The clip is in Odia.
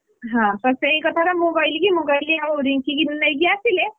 ହଁ ସେଇ କଥାଟା ମୁଁ କହିଲି କି, ମୁଁ କହିଲି ଆଉ ରିଙ୍କି କି ନେଇକି ଆସିଲେ,